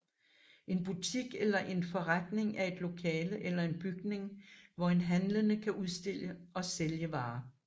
En butik eller en forretning er et lokale eller en bygning hvor en handlende kan udstille og sælge varer